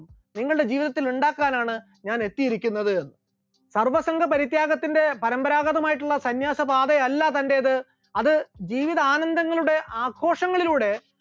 നിങ്ങളുടെ ജീവിതത്തിൽ ഉണ്ടാക്കാനാണ് ഞാൻ എത്തിയിരിക്കുന്നത്, സർവ്വസംഗ പരിത്യാഗത്തിന്റെ പാരമ്പരാഗതമായിട്ടുള്ള സന്യാസപാതയല്ല തന്റേത് അത് ജീവിതാനന്ദങ്ങളുടെ ആഘോഷങ്ങളിലൂടെ